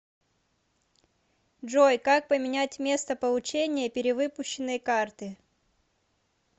джой как поменять место получения перевыпущенной карты